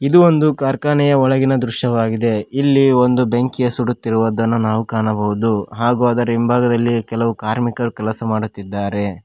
ಇದು ಒಂದು ಕಾರ್ಖಾನೆಯ ಒಳಗಿನ ದೃಶ್ಯವಾಗಿದೆ ಇಲ್ಲಿ ಒಂದು ಬೆಂಕಿಯ ಸುಡುತ್ತಿರುವದನ್ನ ನಾವು ಕಾಣಬಹುದು ಹಾಗೂ ಅದರ ಹಿಂಭಾಗದಲ್ಲಿ ಕೆಲವು ಕಾರ್ಮಿಕರು ಕೆಲಸ ಮಾಡುತ್ತಿದ್ದಾರೆ.